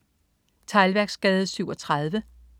Teglværksgade 37